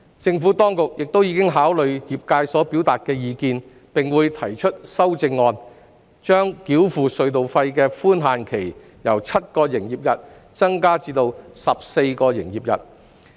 政府當局亦已考慮業界所表達的意見，並會提出修正案，把繳付隧道費的寬限期由7個營業日增至14個營業日。